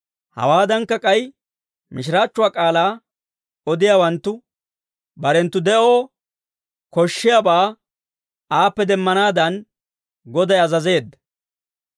Hawaadankka, k'ay mishiraachchuwaa k'aalaa odiyaawanttu barenttu de'oo koshshiyaabaa aappe demmanaadan, Goday azazeedda.